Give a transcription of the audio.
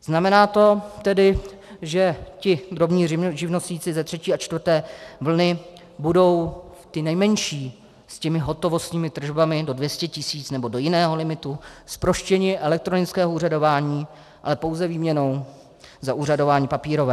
Znamená to tedy, že ti drobní živnostníci ze třetí a čtvrté vlny budou ti nejmenší s těmi hotovostními tržbami do 200 tis. nebo do jiného limitu, zproštění elektronického úřadování, ale pouze výměnou za úřadování papírové.